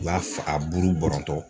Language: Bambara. N b'a f a buru bɔrɔntɔ